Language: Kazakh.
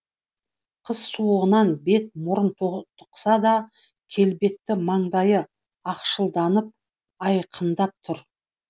қыс суығынан бет мұрны тотықса да келбетті маңдайы ақшылданып айқындап тұр